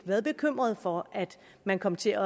været bekymrede for at man kom til